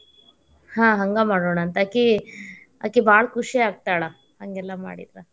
ಹ್ಮ ಹಂಗ ಮಾಡುಣಂತ ಆಕಿ, ಆಕಿ, ಭಾಳ ಖುಷಿ ಆಗ್ತಾಳ ಹಂಗೆಲ್ಲಾ ಮಾಡಿದ್ರ.